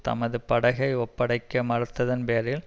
தமது படகை ஒப்படைக்க மறுத்ததன் பேரில்